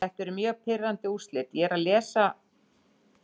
Þetta eru mjög pirrandi úrslit.